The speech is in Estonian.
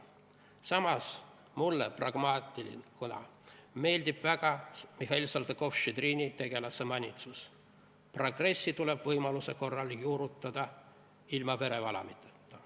Samas mulle pragmaatikuna meeldib väga Mihhail Saltõkov-Štšedrini tegelase manitsus: "Progressi tuleb võimaluse korral juurutada ilma verevalamiseta.